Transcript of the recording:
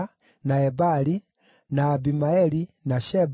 na Ebali, na Abimaeli, na Sheba,